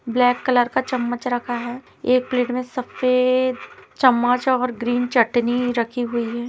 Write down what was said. Black colour का चम्मच रखा है एक प्लेट में सफेद चम्मच और ग्रीन चटनी रखी हुई है।